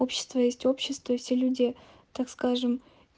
общество есть общество и все люди так скажем